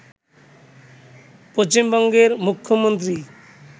পশ্চিমবঙ্গের মুখ্যমন্ত্রী